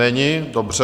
Není, dobře.